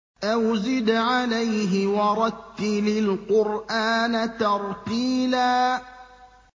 أَوْ زِدْ عَلَيْهِ وَرَتِّلِ الْقُرْآنَ تَرْتِيلًا